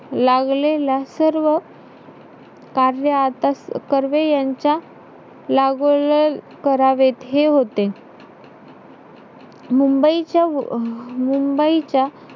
लागलेला सर्व कार्य आता कर्वे यांच्या करावे हे होते. मुंबईच्या अं मुंबईच्या,